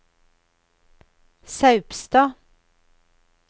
Saupstad